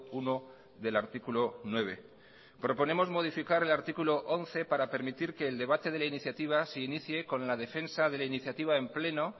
uno del artículo nueve proponemos modificar el artículo once para permitir que el debate de la iniciativa se inicie con la defensa de la iniciativa en pleno